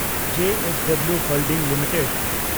JSW holding limited